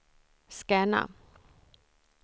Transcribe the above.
scanna